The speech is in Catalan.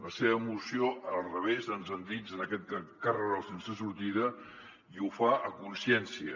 la seva moció al revés ens endinsa en aquest carreró sense sortida i ho fa a consciència